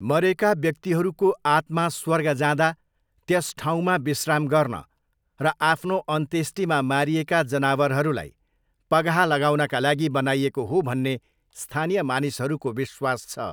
मरेका व्यक्तिहरूको आत्मा स्वर्ग जाँदा त्यस ठाउँमा विश्राम गर्न र आफ्नो अन्त्येष्टिमा मारिएका जानवरहरूलाई पगाहा लगाउनका लागि बनाइएको हो भन्ने स्थानीय मानिसहरूको विश्वास छ।